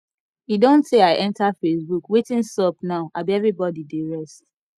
e don tey i enter facebook wetin sup now abi everybody dey rest